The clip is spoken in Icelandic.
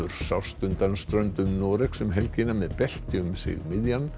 sást undan ströndum Noregs um helgina með belti um sig miðjan